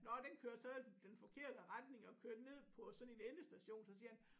Nåh den kørte så den forkerte retning og kørte ned på sådan en endestation så siger han